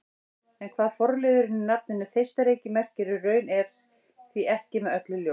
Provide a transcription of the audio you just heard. En hvað forliðurinn í nafninu Þeistareykir merkir í raun er því ekki með öllu ljóst.